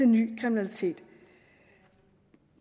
ny kriminalitet